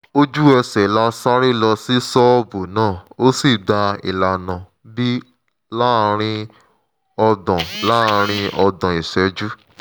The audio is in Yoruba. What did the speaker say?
ojú ẹsẹ̀ la sáré lọ sí ṣọ́ọ̀bù náà ó sì gba ìlànà b láàárín ọgbọ̀n láàárín ọgbọ̀n ìṣẹ́jú